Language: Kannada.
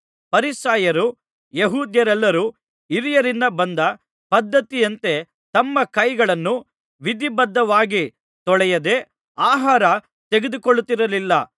ಫರಿಸಾಯರೂ ಯೆಹೂದ್ಯರೆಲ್ಲರೂ ಹಿರಿಯರಿಂದ ಬಂದ ಪದ್ಧತಿಯಂತೆ ತಮ್ಮ ಕೈಗಳನ್ನು ವಿಧಿಬದ್ಧವಾಗಿ ತೊಳೆಯದೆ ಆಹಾರ ತೆಗೆದುಕೊಳ್ಳುತ್ತಿರಲಿಲ್ಲ